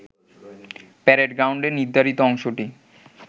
parade গ্রাউন্ডের নির্ধারিত অংশটি